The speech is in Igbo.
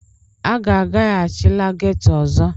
A gaghachila ghetọ ọzọ!